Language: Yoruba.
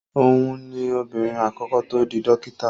Òhun ni obìnrin àkọ́kọ́ tó di dókítà.